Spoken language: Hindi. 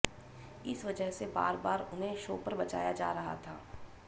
इस वजह से बार बार उन्हें शो पर बचाया जा रहा था